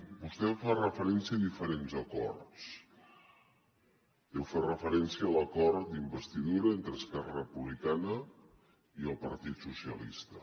vostè fa referència a diferents acords jo faig referència a l’acord d’investidura entre esquerra republicana i el partit socialista